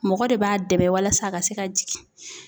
Mɔgɔ de b'a dɛmɛ walasa a ka se ka jigin